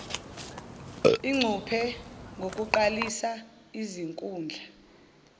ingcuphe ngokuqalisa izinkundla